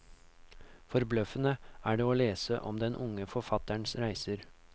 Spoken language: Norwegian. Forbløffende er det å lese om den unge forfatterens reiser.